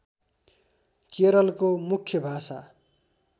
केरलको मुख्य भाषा